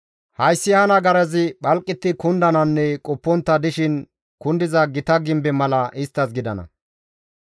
hayssi ha nagarazi phalqetti kundananne qoppontta dishin kundiza gita gimbe mala isttas gidana.